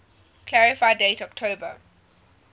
clarify date october